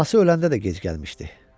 Anası öləndə də gec gəlmişdi.